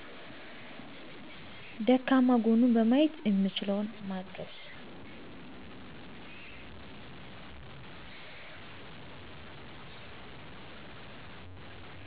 ደካማ ጎኑን በማየት የምችለውን ማገዝ